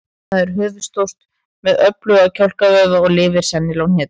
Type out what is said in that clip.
Það er höfuðstórt með öfluga kjálkavöðva og lifir sennilega á hnetum.